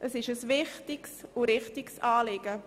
Es ist ein wichtiges und richtiges Anliegen.